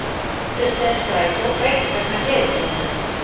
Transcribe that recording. Akstursleiðum strætó breytt vegna gleðigöngu